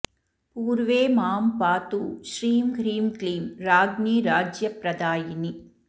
पूर्वे मां पातु श्रीं ह्रीं क्लीं राज्ञी राज्यप्रदायिनी